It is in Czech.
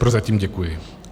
Prozatím děkuji.